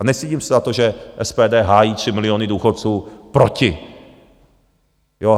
A nestydím se za to, že SPD hájí 3 miliony důchodců proti.